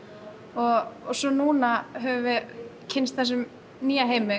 og svo núna höfum við kynnst þessum nýja heimi